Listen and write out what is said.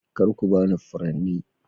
Kar ku ba ni furanni